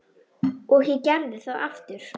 Og ég gerði það aftur.